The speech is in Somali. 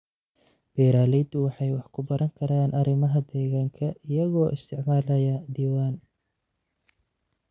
Beeraleydu waxay wax ku baran karaan arrimaha deegaanka iyagoo isticmaalaya diiwaan.